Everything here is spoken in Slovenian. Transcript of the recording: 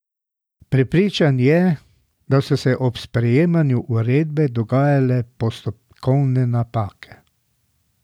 Prepričan je, da so se ob sprejemanju uredbe dogajale postopkovne napake.